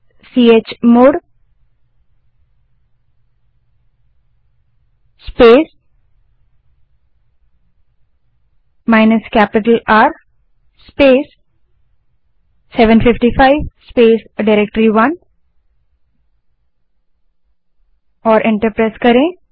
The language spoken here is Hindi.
chmod space minus capital R space 755 space directory enter दबायें